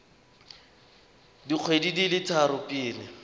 dikgwedi di le tharo pele